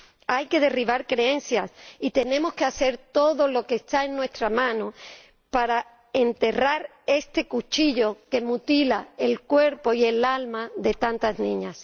Hay que derribar creencias y tenemos que hacer todo lo que está en nuestra mano para enterrar este cuchillo que mutila el cuerpo y el alma de tantas niñas.